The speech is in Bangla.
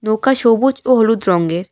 নৌকা সবুজ ও হলুদ রঙের।